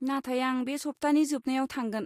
नाथाय आं बे सप्तानि जोबनायाव थांगोन।